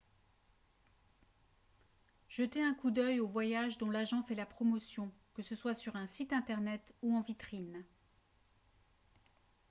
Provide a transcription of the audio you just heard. jetez un coup d'œil aux voyages dont l'agent fait la promotion que ce soit sur un site internet ou en vitrine